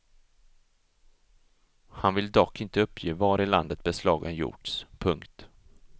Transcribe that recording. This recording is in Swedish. Han vill dock inte uppge var i landet beslagen gjorts. punkt